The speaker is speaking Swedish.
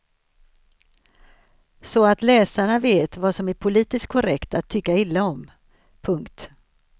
Så att läsarna vet vad som är politiskt korrekt att tycka illa om. punkt